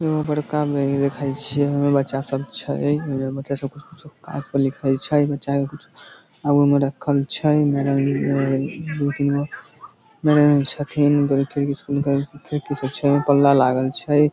एगो बड़का बैंक देखे छिये ओय में बच्चा सब छै ओय में बच्चा सब कुछु-कुछू कागज पर लिखे छै बच्चा के कुछ आगू में रखल छै दू-तीन गो छथिन स्कूल के खिड़की सब छै पल्ला लागल छै।